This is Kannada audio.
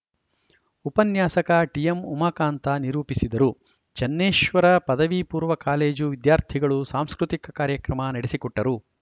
ಉಪನ್ಯಾಸಕ ಟಿಎಂಉಮಾಕಾಂತ ನಿರೂಪಿಸಿದರು ಚನ್ನೇಶ್ವರ ಪದವಿ ಪೂರ್ವ ಕಾಲೇಜು ವಿದ್ಯಾರ್ಥಿಗಳು ಸಾಂಸ್ಕೃತಿಕ ಕಾರ್ಯಕ್ರಮ ನಡೆಸಿಕೊಟ್ಟರು